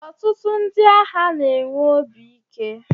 ọtụtụ ndị agha na-enwe obi ike